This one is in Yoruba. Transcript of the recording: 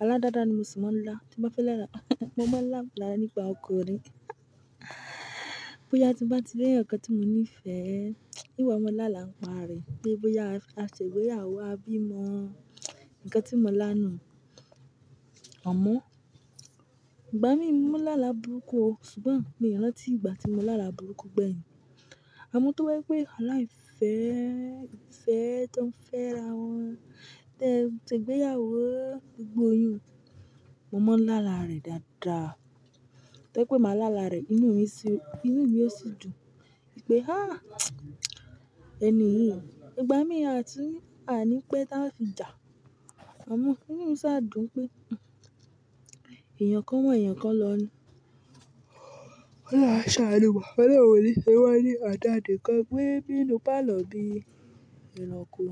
Alá dáadáa ni mo sì máa ń lá, tí mo bá fẹ́ láàlà mo máa ń láàlà nípa ọkùnrin. Bóyá tí mo bá ti rí ẹ̀ẹ̀yan tí mo nífẹ̀ẹ́, ìn wa mọ láàlà ń pa rẹ̀ pe bóyá a ṣègbéyàwó a bímọ. Ǹkan tí mo lá nu, amọ, ìgbá mi mo mọ láàlà burúkú o ṣùgbọ́n mi ò ranti ìgbà tí mo láàlà burúkú gbẹ̀yìn. Amọ tó bàjẹ́ pé, alá ìfẹ́, ìfẹ́ tó ń fẹ́ra wọn, tẹ ṣe ìgbéyàwó gbogbo iyun. Mo máa ń láàlà rẹ̀ dáadáa. Tẹ́ pé màá láàlà rẹ̀ inú mi sì, inú mi ò sì dùn pé "há! Ẹni yìí." Ìgbá mi a ti, a ní pé táa fi jà. Amọ, inú mi sa a dùn pé, èèyàn kan wa èèyàn kan lọ ni ólohun a ṣe aanu wa, olohun o ní ṣe wá ní ọ̀dà nikan gbe nínú pálọ̀ bí ìnàkú.